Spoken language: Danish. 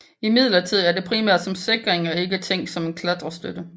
Imidlertid er det primært som sikring og ikke tænkt som en klatrestøtte